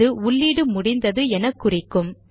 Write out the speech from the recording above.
அது உள்ளீடு முடிந்தது என குறிக்கும்